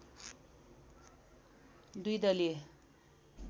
दुई दलीय